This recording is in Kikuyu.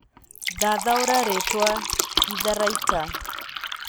thathaũrĩra rĩtwa ĩtharaĩta